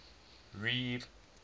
reef